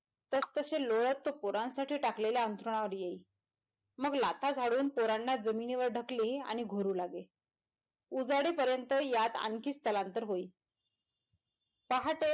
तसतशे लोळत तो पोरांसाठी टाकलेल्या अंथरुणावर येई मग लाथा झाडून पोरांना जमिनीवर ढकली आणि घोरू लागे उजाडी पर्यँत यात आणखीच स्थलांतर होई पहाटे.